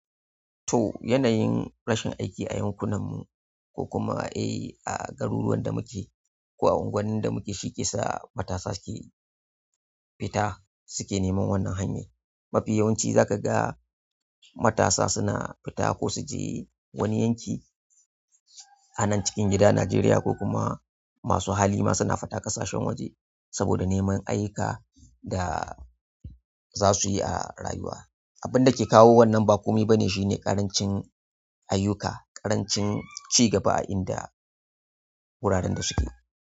To, yanayin rashin aiki a yankunan mu ko kuma eh a garuruwan da muke ko a unguwannin da muke shike sa matasa ke fita suke neman wannan hanya. Mafi yawanci za ka ga matasa suna fita ko su je wani yanki a nan cikin gida Najeriya ko kuma masu hali ma suna fita ƙasashen waje saboda neman ayyuka da sa suyi a rayuwa. Abin da ke kawo wannan ba komai ba ne shine ƙarancin ayyuka, ƙarancin ci gaba a inda wuraren da suke.